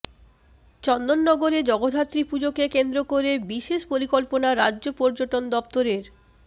চন্দননগরে জগদ্ধাত্রী পুজোকে কেন্দ্র করে বিশেষ পরিকল্পনা রাজ্য পর্যটন দফতরের